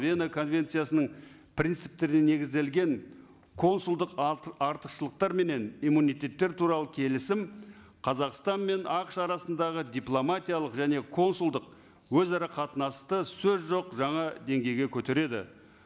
вена конвенциясының принциптеріне негізделген консулдық артықшылықтар менен иммунитеттер туралы келісім қазақстан мен ақш арасындағы дипломатиялық және консулдық өзара қатынасты сөз жоқ жаңа деңгейге көтереді